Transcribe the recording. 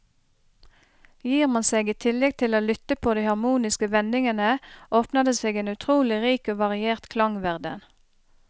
Gir man seg i tillegg tid til å lytte på de harmoniske vendingene, åpner det seg en utrolig rik og variert klangverden.